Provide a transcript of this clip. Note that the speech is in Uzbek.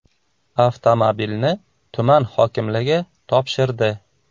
Avtomobilni tuman hokimligi topshirdi.